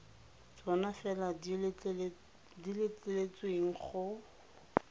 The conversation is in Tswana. tsona fela di letleletsweng go